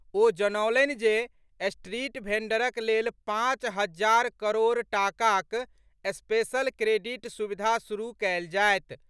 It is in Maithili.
ओ जनौलनि जे स्ट्रीट भेंडरक लेल पांच हजार करोड़ टाकाक स्पेशल क्रेडिट सुविधा शुरू कयल जायत।